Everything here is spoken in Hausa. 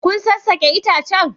Kun sassake itacen?